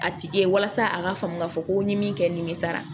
A tigi walasa a ka faamu ka fɔ ko mi min kɛ nimisa